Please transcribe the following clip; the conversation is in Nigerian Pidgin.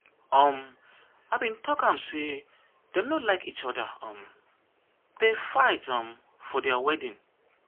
no dey too worry yourself. your pikin go soon marry.